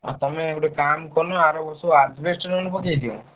ଆଉ ତମେ ଗୋଟେ କାମ୍ କରୁନ ଆର ବର୍ଷକୁ adjbest ନହେଲେ ପକେଇଦିଅ।